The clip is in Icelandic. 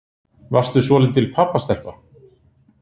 Varstu svolítil pabbastelpa?